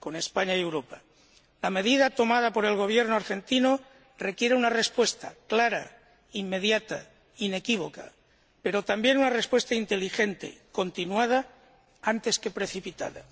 La medida tomada por el Gobierno argentino requiere una respuesta clara, inmediata, inequívoca, pero también una respuesta inteligente, continuada, antes que precipitada.